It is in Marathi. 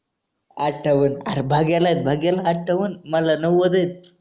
अत्ठावन भाग्याला आहेत भाग्याला अत्ठावन मला नव्वद आहेत.